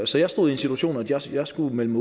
så jeg stod i en situation hvor jeg skulle melde